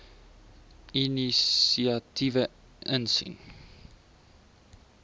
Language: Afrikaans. inisiatiewe insien